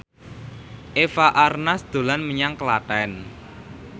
Eva Arnaz dolan menyang Klaten